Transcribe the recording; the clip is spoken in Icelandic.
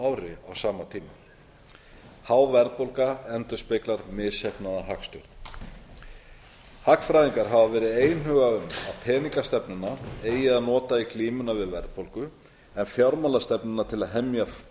ári á sama tíma há verðbólga endurspeglar misheppnaða hagstjórn hagfræðingar hafa verið einhuga um að peningastefnuna eigi að nota í glímunni við verðbólgu en fjármálastefnuna til að hemja